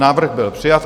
Návrh byl přijat.